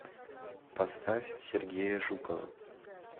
поставь сергея жукова